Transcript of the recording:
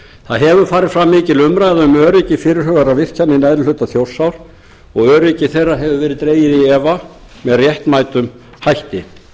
það hefur farið fram mikil umræða um öryggi fyrirhugaðra virkjana í neðri hluta þjórsár og öryggi þeirra hefur verið dregið í efa með réttmætum hætti